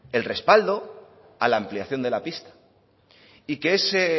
el respaldo a la ampliación de la pista y que ese